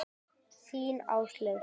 Þín, Áslaug.